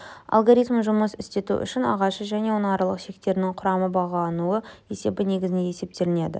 алгоритмін жұмыс істету үшін ағашы және оның аралық шектерінің құрамы бағалануы есебі негізінде есептелінеді